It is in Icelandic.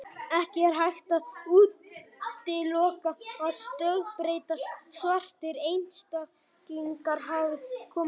Ekki er hægt að útiloka að stökkbreyttir, svartir einstaklingar hafi komið fram.